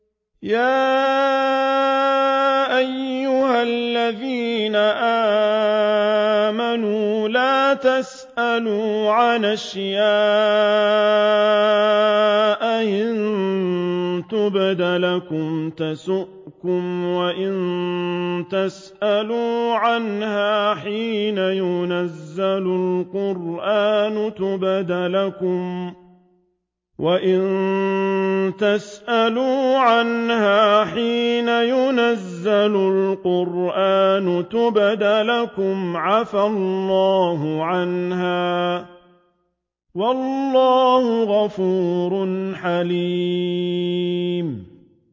يَا أَيُّهَا الَّذِينَ آمَنُوا لَا تَسْأَلُوا عَنْ أَشْيَاءَ إِن تُبْدَ لَكُمْ تَسُؤْكُمْ وَإِن تَسْأَلُوا عَنْهَا حِينَ يُنَزَّلُ الْقُرْآنُ تُبْدَ لَكُمْ عَفَا اللَّهُ عَنْهَا ۗ وَاللَّهُ غَفُورٌ حَلِيمٌ